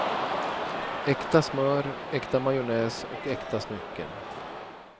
Äkta smör, äkta majonnäs och äkta smycken.